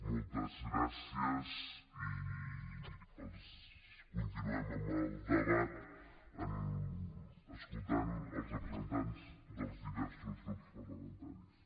moltes gràcies i continuem amb el debat escoltant els representants dels diversos grups parlamentaris